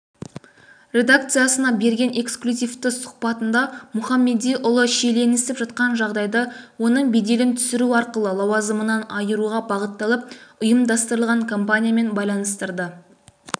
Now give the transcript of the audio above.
редакциясына берген эксклюзивтісұхбатындамұхамедиұлы шиеленісіп жатқан жағдайды оның беделін түсіру арқылы лауазымынан айыруға бағытталып ұйымдастырылған кампаниямен байланыстырды